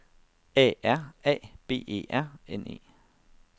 A R A B E R N E